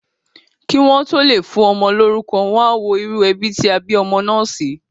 Kí wọ́n tó lè fún ọmọ lórúkọ, wọ́n á wo irú ẹbí tí wọ́n bí ọmọ náà sí.